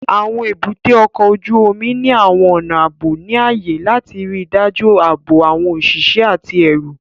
Àwọn èbúté ọkọ̀ ojú omi ní àwọn ọnà ààbò ní ààyè láti ríi dájú ààbò àwọn òṣìṣẹ́ àti ẹrù